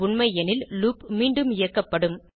உண்மை எனில் லூப் மீண்டும் இயக்கப்படும்